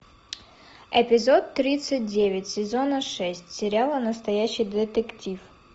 эпизод тридцать девять сезона шесть сериала настоящий детектив